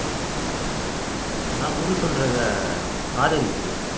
நான் குரு சொல்றதே ஆதரிக்கிறேன்